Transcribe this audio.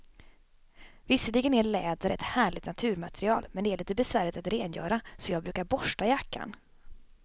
Visserligen är läder ett härligt naturmaterial, men det är lite besvärligt att rengöra, så jag brukar borsta jackan.